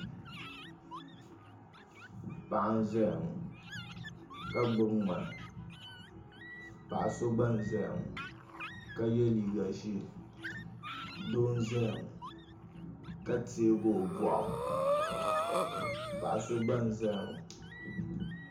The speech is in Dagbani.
Paɣa n ʒɛya ŋo ka gbubi ŋmani paɣa so gba n ʒɛya ŋo ka yɛ liiga ʒiɛ doo n ʒɛya ŋo ka tiɛgi o boɣu paɣa so gba n ʒɛya ŋo